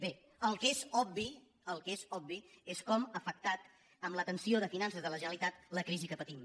bé el que és obvi el que és obvi és com ha afectat en la tensió de finances de la generalitat la crisi que patim